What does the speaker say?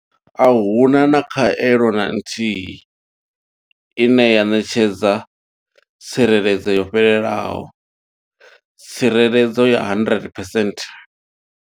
Ahuna khaelo na nthihi ine ya ṋetshedza tsireledzo yo fhelelaho tsireledzo ya 100 percent.